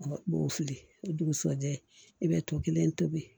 U b'o fili o dugusɛjɛ i bɛ to kelen tobi